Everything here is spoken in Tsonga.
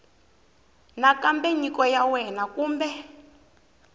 nakambe nyiko ya wena kumbe